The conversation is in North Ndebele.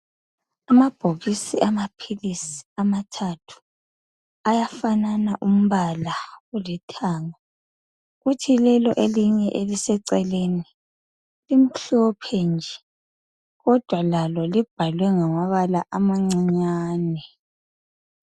Amabhokisi amaphilisi amathathu ayafanana umbala olithanga kuthi lelo elinye eliseceleni limhlophe nje kodwa lalo libhalwe ngamabala amancinyane